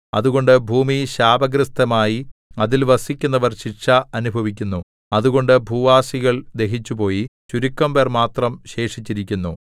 അതുകൊണ്ട് ഭൂമി ശാപഗ്രസ്തമായി അതിൽ വസിക്കുന്നവർ ശിക്ഷ അനുഭവിക്കുന്നു അതുകൊണ്ട് ഭൂവാസികൾ ദഹിച്ചുപോയി ചുരുക്കം പേർ മാത്രം ശേഷിച്ചിരിക്കുന്നു